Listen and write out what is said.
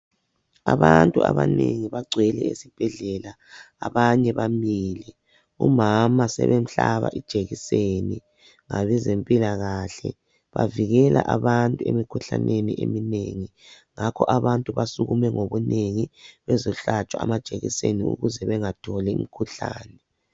Abantu abanengi bagcwele esibhedlela, abanye bamile. Umama sebemhlaba ijekiseni ngabezempilakahle. Bavikela abantu emikhuhlaneni eminengi ,ngakho abantu basukume ngobunengi bezohlatshwa amajekiseni ukuze bengatholi umkhuhlane.